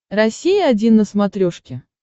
россия один на смотрешке